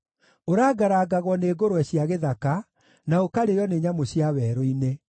Ũrangarangagwo nĩ ngũrwe cia gĩthaka, na ũkarĩĩo nĩ nyamũ cia werũ-inĩ.